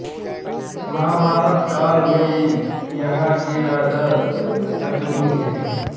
महाभारत काल में यहाँ के राजा शकुनि थे